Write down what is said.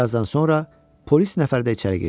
Bir azdan sonra polis nəfər də içəri girdi.